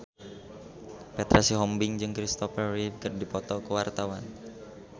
Petra Sihombing jeung Kristopher Reeve keur dipoto ku wartawan